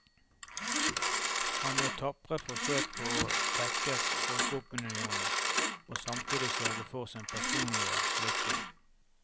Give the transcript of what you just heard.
Han gjør tapre forsøk på å tekkes folkeopinionen og samtidig sørge for sin personlige lykke.